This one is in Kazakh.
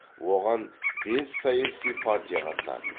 оған бес саяси партия қатысады